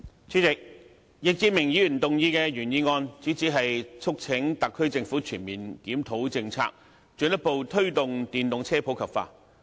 主席，易志明議員提出的原議案，主旨是促請特區政府全面檢討政策，進一步推動電動車普及化。